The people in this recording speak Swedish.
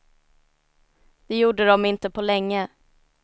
Det gjorde de inte på länge.